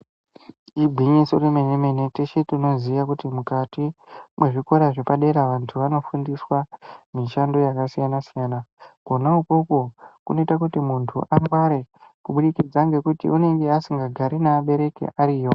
Igwinyiso remene mene teshe tinoziya kuti mukati mwezvikora zvepadera vantu vanofundiswa mishando yakasiyana siyana kwona ikwokwo kunoita kuti muntu angware kubudikidza ngekuti anenge vasingagari nevabereki ariyo.